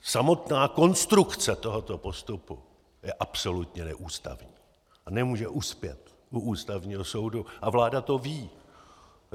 Samotná konstrukce tohoto postupu je absolutně neústavní a nemůže uspět u Ústavního soudu a vláda to ví.